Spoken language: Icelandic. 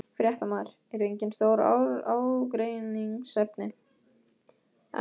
Fréttamaður: Eru engin stór ágreiningsefni?